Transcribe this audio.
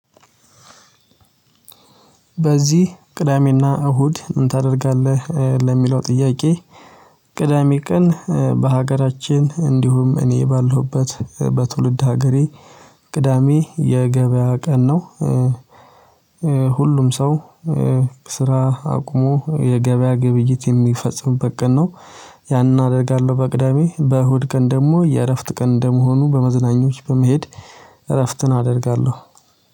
በዚህ ቅዳሜና እሁድ ምን ታደርጋለህ ለሚለው ጥያቄ? ቅዳሜ ቀን በሀገራችን እንዲሁም እኔ ባለሁበት በትውልድ ሀገሬ ቅዳሜ የገበያ ቀን ነው። ሁሉም ሰው ስራ አቁሞ የገበያ ግብይት የሚፈጽምበት ቀን ነው። ያንን አደርጋለሁ በቅዳሜ በእሁድ ቀን ደግሞ የእረፍት ቀን እንደመሆኑ በመዝናኞች በመሄድ እረፍትን አደርጋለሁ